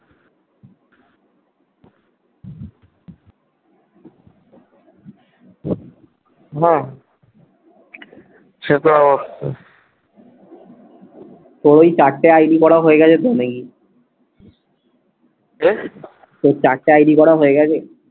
হম তোর ওই চারটে আইডি করা হয়ে গেছে তোর নাকি কে? তোর চারটে আইডি করা হয়ে গেছে?